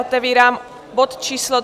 Otevírám bod číslo